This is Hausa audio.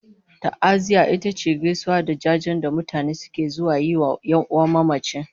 Ta'aziyya ita ce gaisuwa da jajen da mutane suke zuwa yi wa 'yan'uwan mamaci